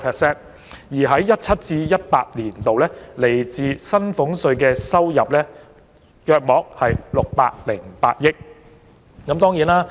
在 2017-2018 年度，政府來自薪俸稅的收入約為620億元。